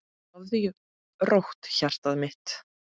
Sofðu rótt, hjartað mitt.